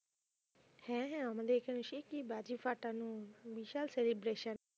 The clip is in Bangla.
হ্যাঁ হ্যাঁ আমাদের এখানেও সে কি বাজি ফাটানো বিশাল celebration